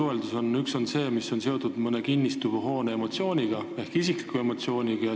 Esiteks emotsioonid, mis on seotud mõne kinnistu või hoonega, ehk isiklikud emotsioonid.